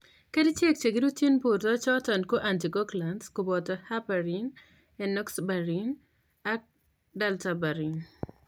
Kerichek che kirutyin borto choton ko anticoagulants koboto heparin, enoxaparin ak dalterparin